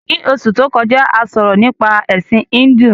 Ní Osù to kọjá, a sọ̀rọ̀ nípa Ẹ̀sin Híndù